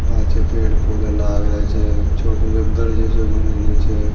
पाचे पेड़ -पौधा लग रहियो छे छोटो सो घर जैसो बन रहियो छे।